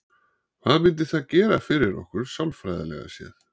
Hvað myndi það gera fyrir okkur sálfræðilega séð?